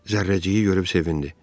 Zərrəciyi görüb sevindi.